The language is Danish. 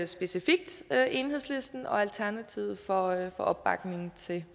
specifikt enhedslisten og alternativet for opbakningen til